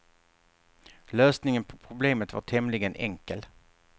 Lösningen på problemet var tämligen enkel.